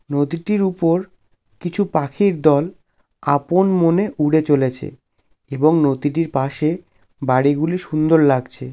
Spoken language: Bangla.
নদীটিইর উপরর কিছু পাখির দোল আপন মনে উড়ে চলেছে এবং নদীটির পাশেএ বাড়ি গুলি সুন্দর লাগছে।